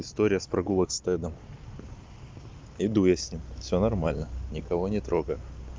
история с прогулок с тедом иду с ним все нормально никого не трогаю